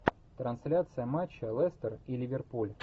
трансляция матча лестер и ливерпуль